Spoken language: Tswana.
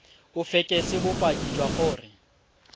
o fekese bopaki jwa gore